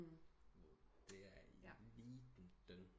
Det er eliten